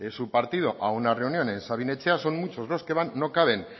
su partido a una reunión en sabin etxea son muchos los que van no caben